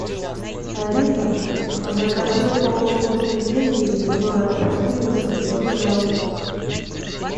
алиса закажи упаковку пельменей мясное ассорти восемьсот грамм